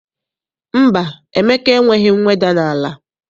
Mba, Emeka enweghị mweda n'ala.